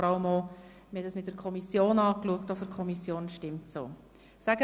Wir haben es auch mit der Kommission angeschaut und sie ist ebenfalls einverstanden.